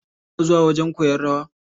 Kuna zuwa wajen koyan rawa.